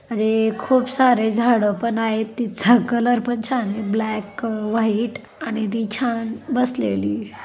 अरे खूप सारे झाडे पण आहेत तिथ कलर पण छान ब्लॅक व्हाइट आणि ती छान बसलेली --